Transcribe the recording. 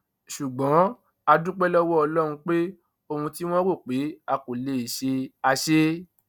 ṣùgbọn a dúpẹ lọwọ ọlọrun pé ohun tí wọn rò pé a kò lè ṣe á ṣe é